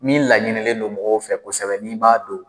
Min laɲinilen don mɔgɔw fɛ kosɛbɛ n'i b'a don